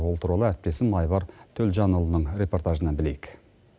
ол туралы әріптесім айбар төлжанұлының репортажынан білейік